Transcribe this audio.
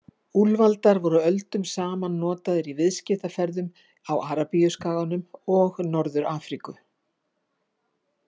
Úlfaldar voru öldum saman notaðir í viðskiptaferðum á Arabíuskaganum og Norður-Afríku.